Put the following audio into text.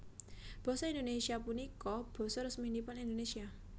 Basa Indonésia punika basa resminipun Indonésia